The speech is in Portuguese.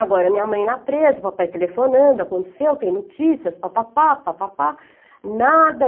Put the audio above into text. Agora, minha mãe lá presa, o papai telefonando, aconteceu, tem notícias, papapá, papapá, nada.